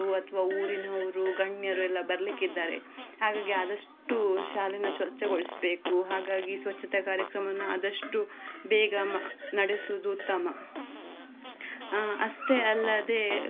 ಅಥವಾ ಊರಿನವರು ಗಣ್ಯರು ಎಲ್ಲಾ ಬರ್ಲಿಕ್ಕಿದ್ಧಾರೆ ಹಾಗಾಗಿ ಆದಷ್ಟು ಶಾಲೆನ ಸ್ವಚ್ಛಗೋಳಿಸ್ಬೇಕು ಹಾಗಾಗಿ ಸ್ವಚ್ಛತಾ ಕಾರ್ಯಕ್ರಮವನ್ನ ಆದಷ್ಟು ಬೇಗ ನಡೆಸುದು ಉತ್ತಮ ಅಷ್ಟೇ ಅಲ್ಲದೆ.